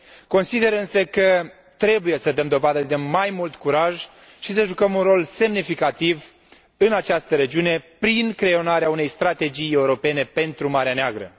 Consider însă că trebuie să dăm dovadă de mai mult curaj și să jucăm un rol semnificativ în această regiune prin creionarea unei strategii europene pentru Marea Neagră.